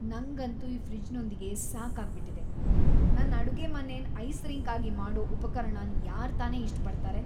ನಂಗಂತೂ ಈ ಫ್ರಿಜ್‌ನೊಂದಿಗೆ ಸಾಕಾಗ್ ಬಿಟ್ಟಿದೆ. ನನ್ ಅಡುಗೆಮನೆನ್ ಐಸ್ ರಿಂಕ್ ಆಗಿ ಮಾಡೋ ಉಪಕರಣನ್ ಯಾರ್ ತಾನೇ ಇಷ್ಟ್ ಪಡ್ತಾರೆ?